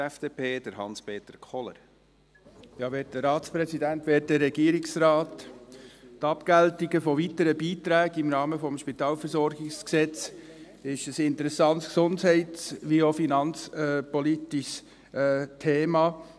Die Abgeltungen von weiteren Beiträgen im Rahmen des SpVG ist ein interessantes gesundheits- wie auch finanzpolitisches Thema.